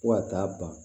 Fo ka taa ban